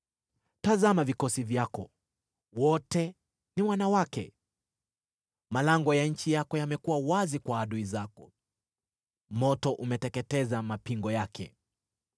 Tazama vikosi vyako: wote ni wanawake! Malango ya nchi yako yamekuwa wazi kwa adui zako; moto umeteketeza mapingo yake.